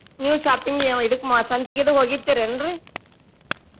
ನೀವು shopping ಇದಕ್ ಸಂತಿಗದು ಹೋಗಿರ್ತೆರಿ ಏನ್ರೀ?